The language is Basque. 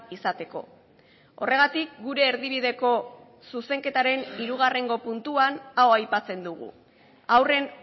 izateko horregatik gure erdibideko zuzenketaren hirugarrengo puntuan hau aipatzen dugu haurren